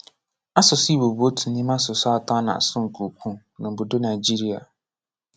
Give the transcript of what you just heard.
Asụsụ Igbo bụ otu n’ime asụsụ atọ a na-asụ nke ukwuu n’ obodo Nigeria.